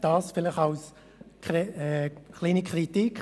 Dies vielleicht als kleine Kritik.